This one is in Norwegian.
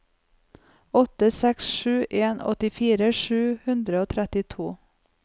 åtte seks sju en åttifire sju hundre og trettito